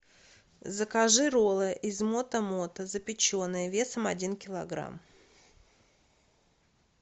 закажи роллы из мото мото запеченные весом один килограмм